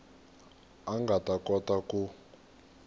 a nga ta kota ku